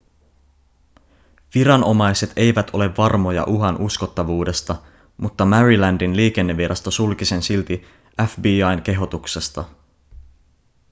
viranomaiset eivät ole varmoja uhan uskottavuudesta mutta marylandin liikennevirasto sulki sen silti fbi:n kehotuksesta